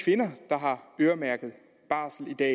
kvinder der har øremærket barsel i dag